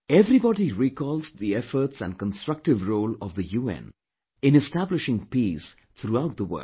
Everybody recalls the efforts and constructive role of the UN in establishing peace throughout the world